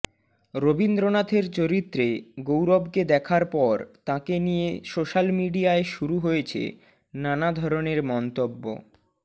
রবীন্দ্রনাথের চরিত্রে গৌরবকে দেখার পর তাঁকে নিয়ে সোশ্যাল মিডিয়ায় শুরু হয়েছে নানা ধরনের মন্তব্য